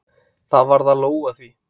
Það varð að lóga því.